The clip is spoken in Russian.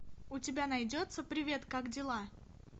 у тебя найдется привет как дела